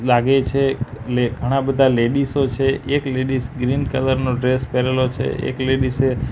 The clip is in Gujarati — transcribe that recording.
લાગે છે લે ઘણા બધા લેડીઝો છે એક લેડીઝ ગ્રીન કલર નો ડ્રેસ પહેરેલો છે એક લેડીઝે --